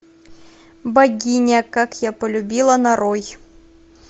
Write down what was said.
богиня как я полюбила нарой